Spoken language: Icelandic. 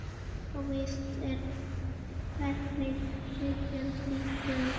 Óvíst er hvenær viðgerð lýkur.